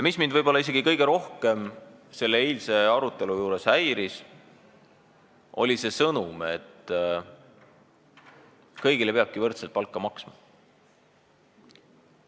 Mis mind isegi kõige rohkem eilse arutelu juures häiris, oli see sõnum, et kõigile peabki võrdselt palka maksma.